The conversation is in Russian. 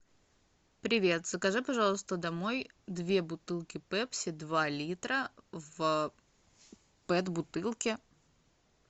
привет закажи пожалуйста домой две бутылки пепси два литра в пэт бутылке